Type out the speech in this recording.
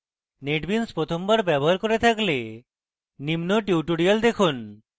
netbeans প্রথমবার ব্যবহার করে থাকলে নিম্ন tutorial দেখুন